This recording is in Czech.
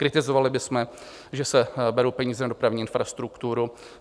Kritizovali bychom, že se berou peníze na dopravní infrastrukturu.